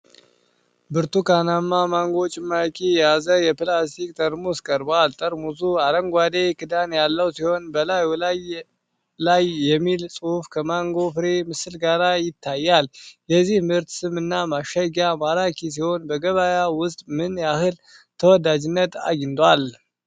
ብርቱካናማ ማንጎ ጭማቂ የያዘ የፕላስቲክ ጠርሙስ ቀርቧል። ጠርሙሱ አረንጓዴ ክዳን ያለው ሲሆን፣ በላዩ ላይ የሚል ጽሑፍ ከማንጎ ፍሬ ምስል ጋር ይታያል። የዚህ ምርት ስም እና ማሸጊያ ማራኪ ሲሆን፣ በገበያ ውስጥ ምን ያህል ተወዳጅነት አግኝቷል?